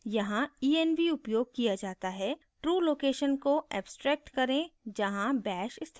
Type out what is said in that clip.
यहाँ env उपयोग किया जाता है true location को abstracts करें जहाँ bash स्थित है